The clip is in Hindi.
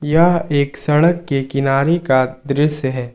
यह एक सड़क के किनारे का दृश्य है।